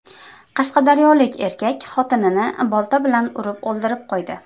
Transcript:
Qashqadaryolik erkak xotinini bolta bilan urib o‘ldirib qo‘ydi.